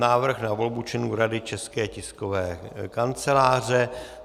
Návrh na volbu členů Rady České tiskové kanceláře